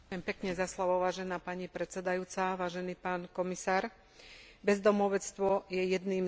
Bezdomovstvo je jedným z najextrémnejších a najhorších prejavov chudoby a sociálneho vylúčenia.